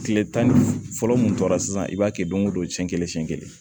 Kile tan ni fila fɔlɔ mun tora sisan i b'a kɛ don o don siɲɛ kelen siɲɛ kelen